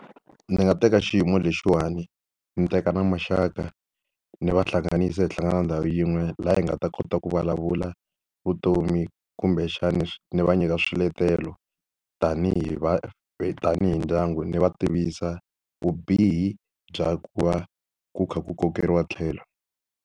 Ndzi nga teka xiyimo lexiwani, ndzi teka na maxaka ni va hlanganisa hi hlangana ndhawu yin'we laha hi nga ta kota ku vulavula vutomi kumbexani ni va nyika swiletelo. Tanihi tanihi ndyangu ndzi va tivisa vubihi bya ku va ku kha ku kokeriwa tlhelo.